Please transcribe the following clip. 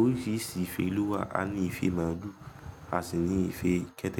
Oríṣiríṣi ife ló wà, a ní ife máàlù, a sì ní ife kẹ́tẹ́kẹ́tẹ́